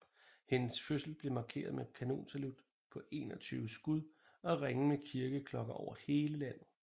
Hendes fødsel blev markeret med kanonsalut på 21 skud og ringen med kirkeklokker over hele landet